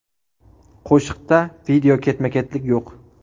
Qo‘shiqda video ketma-ketlik yo‘q.